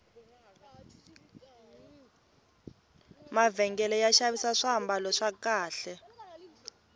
mavhengele ya xavisa swambalo swa kahle